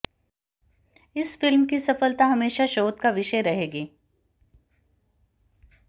इस फिल्म की सफलता हमेशा शोध का विषय रहेगी